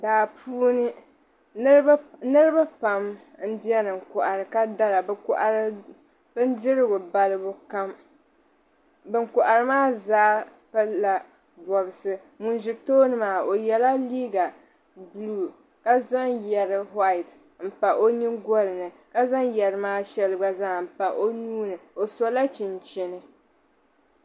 Daapuuni niribi pam n beni n kohiri ka dara. bi kohiri bin dirigu balibu kam ban kohiri maa zaa pili la bɔbsi. ŋun zi tooni maa nyela liiga blue ka zaŋ yɛri white n pa o nyingolini, ka zaŋ yeri maa shɛli ɔ nuuni dola chinchini.